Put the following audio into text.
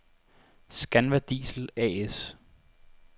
Scanva Diesel A/S